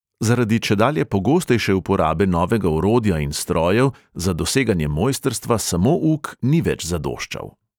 Zaradi čedalje pogostejše uporabe novega orodja in strojev za doseganje mojstrstva samo uk ni več zadoščal.